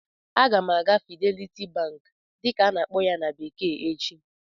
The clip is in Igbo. Aga m aga "Fidelity bank" dịka a-na akpọ ya na bekee echi